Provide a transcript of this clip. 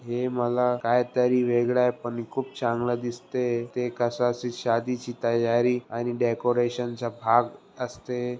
हे मला काही तरी वेगळा पण खूप चांगले दिसते ते कस शादीची तयारी आणि डेकोरेशन चा भाग असते.